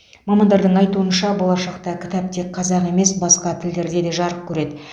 мамандардың айтуынша болашақта кітап тек қазақ емес басқа тілдерде де жарық көреді